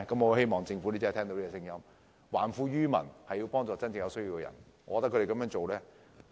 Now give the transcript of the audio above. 我希望政府真的聽到市民的心聲，還富於民，幫助真正有需要的人。